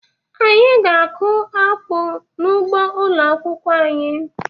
Anyị ga-akụ akpu n'ugbo ụlọ akwụkwọ anyị